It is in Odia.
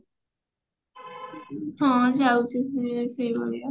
ହଁ ଯାଉଛୁ ଏଇ ଶ୍ରୀ ମନ୍ଦିର